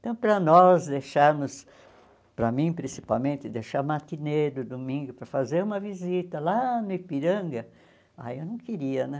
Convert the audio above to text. Então, para nós deixarmos, para mim principalmente, deixar matineiro, domingo, para fazer uma visita lá no Ipiranga, ai eu não queria né.